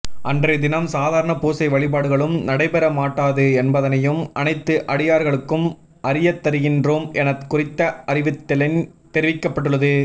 அன்றைய தினம் சாதாரண பூசை வழிபாடுகழும் நடைபெற மாட்டாது என்பதனையும் அனைத்து அடியார்களுக்கும் அறியத்தருகின்றோம் என குறித்த அறிவித்தலில் தெரிவிக்கப்பட்டுள்ளது